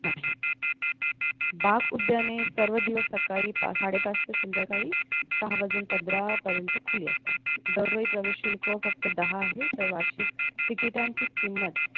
नाही बाग उद्याने सर्व दिवस सकाळी साडेपाच ते संध्याकाळी सहा वाजजुन पंधरा पर्यंत खुले असतात दरवेळी प्रवेश शुल्क फक्त दहा आहे तर वार्षिक तिकिटांची किंमत